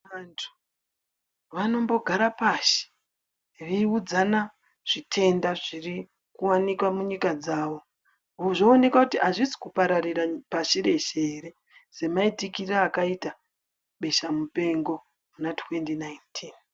Vantu vanombogara pashi veiudzana zvitenda zvirikuwanikwa munyika dzawo zvoonekwa kuti azvisi kupararira pashi reshe ere semaitikire akaita besha mupengo muna2019.